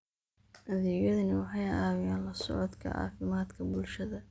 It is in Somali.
Adeegyadani waxay caawiyaan la socodka caafimaadka bulshada.